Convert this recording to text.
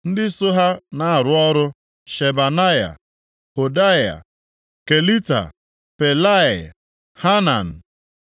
ndị so ha na-arụ ọrụ: Shebanaya, Hodia, Kelita, Pelaia, Hanan,